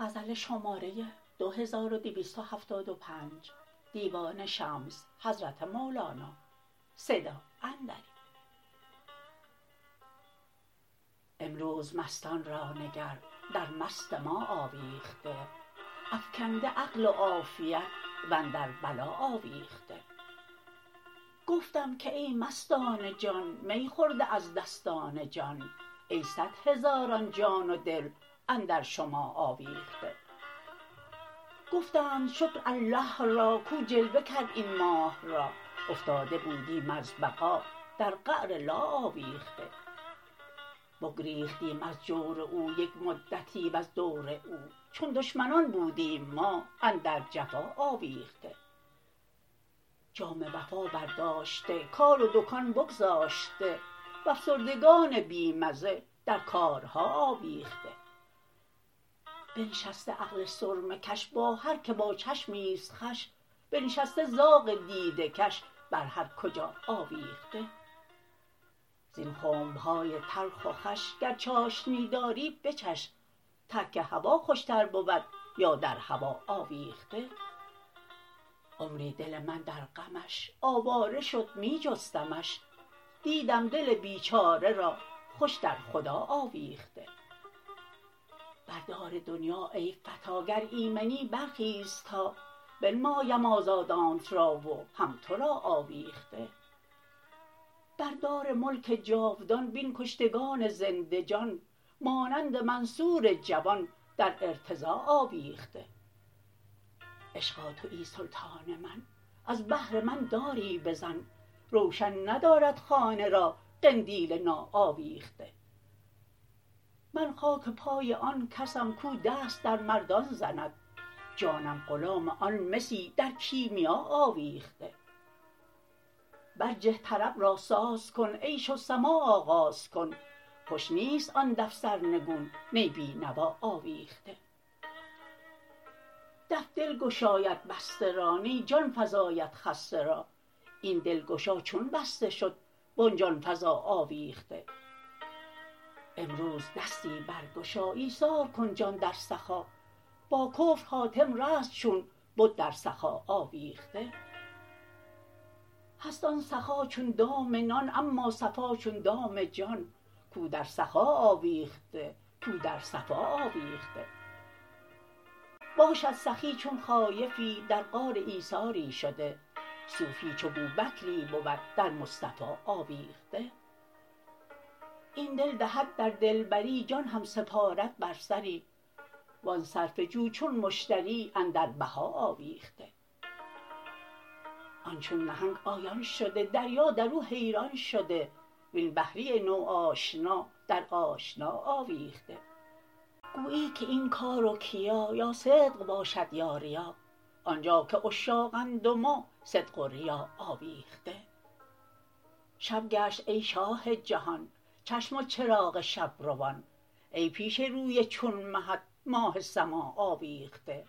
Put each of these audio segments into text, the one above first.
امروز مستان را نگر در مست ما آویخته افکنده عقل و عافیت و اندر بلا آویخته گفتم که ای مستان جان می خورده از دستان جان ای صد هزاران جان و دل اندر شما آویخته گفتند شکر الله را کو جلوه کرد این ماه را افتاده بودیم از بقا در قعر لا آویخته بگریختیم از جور او یک مدتی وز دور او چون دشمنان بودیم ما اندر جفا آویخته جام وفا برداشته کار و دکان بگذاشته و افسردگان بی مزه در کارها آویخته بنشسته عقل سرمه کش با هر کی با چشمی است خوش بنشسته زاغ دیده کش بر هر کجا آویخته زین خنب های تلخ و خوش گر چاشنی داری بچش ترک هوا خوشتر بود یا در هوا آویخته عمری دل من در غمش آواره شد می جستمش دیدم دل بیچاره را خوش در خدا آویخته بر دار دنیا ای فتی گر ایمنی برخیز تا بنمایم آزادانت را و هم تو را آویخته بر دار ملک جاودان بین کشتگان زنده جان مانند منصور جوان در ارتضا آویخته عشقا توی سلطان من از بهر من داری بزن روشن ندارد خانه را قندیل ناآویخته من خاک پای آن کسم کو دست در مردان زند جانم غلام آن مسی در کیمیا آویخته برجه طرب را ساز کن عیش و سماع آغاز کن خوش نیست آن دف سرنگون نی بی نوا آویخته دف دل گشاید بسته را نی جان فزاید خسته را این دلگشا چون بسته شد و آن جان فزا آویخته امروز دستی برگشا ایثار کن جان در سخا با کفر حاتم رست چون بد در سخا آویخته هست آن سخا چون دام نان اما صفا چون دام جان کو در سخا آویخته کو در صفا آویخته باشد سخی چون خایفی در غار ایثاری شده صوفی چو بوبکری بود در مصطفی آویخته این دل دهد در دلبری جان هم سپارد بر سری و آن صرفه جو چون مشتری اندر بها آویخته آن چون نهنگ آیان شده دریا در او حیران شده وین بحری نوآشنا در آشنا آویخته گویی که این کار و کیا یا صدق باشد یا ریا آن جا که عشاقند و ما صدق و ریا آویخته شب گشت ای شاه جهان چشم و چراغ شب روان ای پیش روی چون مهت ماه سما آویخته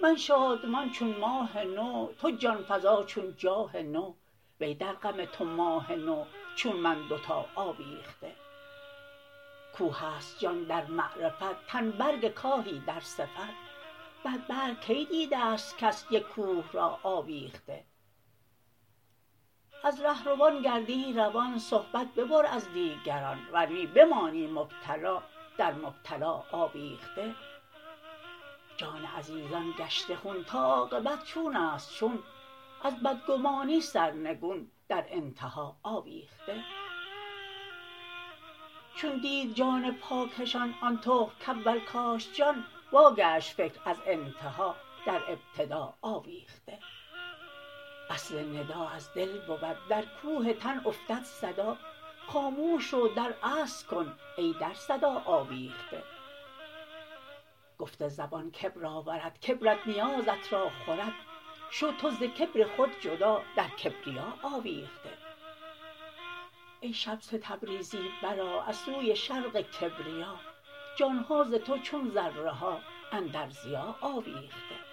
من شادمان چون ماه نو تو جان فزا چون جاه نو وی در غم تو ماه نو چون من دوتا آویخته کوه است جان در معرفت تن برگ کاهی در صفت بر برگ کی دیده است کس یک کوه را آویخته از ره روان گردی روان صحبت ببر از دیگران ور نی بمانی مبتلا در مبتلا آویخته جان عزیزان گشته خون تا عاقبت چون است چون از بدگمانی سرنگون در انتها آویخته چون دید جان پاکشان آن تخم کاول کاشت جان واگشت فکر از انتها در ابتدا آویخته اصل ندا از دل بود در کوه تن افتد صدا خاموش رو در اصل کن ای در صدا آویخته گفت زبان کبر آورد کبرت نیازت را خورد شو تو ز کبر خود جدا در کبریا آویخته ای شمس تبریزی برآ از سوی شرق کبریا جان ها ز تو چون ذره ها اندر ضیا آویخته